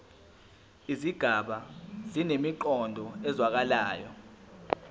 izigaba zinemiqondo ezwakalayo